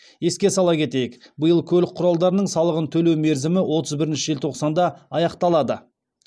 еске сала кетейік биыл көлік құралдарының салығын төлеу мерзімі отыз бірінші желтоқсанда аяқталады